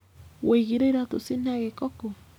Wũigire iratũ cina gĩko kũũ?